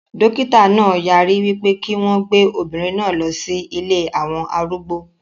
Dókítà náà yarí wípé kí wọn gbé obìnrin náà lọ sí ilée àwọn arúgbó